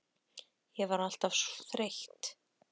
Ég var alltaf þreytt.